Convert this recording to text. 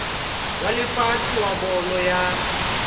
wa lefatshe wa bolo ya